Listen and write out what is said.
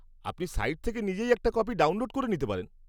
আপনি সাইট থেকে নিজেই একটা কপি ডাউনলোড করে নিতে পারেন।